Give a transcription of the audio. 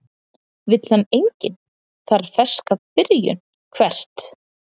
Vill hann enginn, þarf ferska byrjun Hvert?